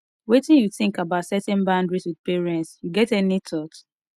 wetin you think about setting boundaries with parents you get any thought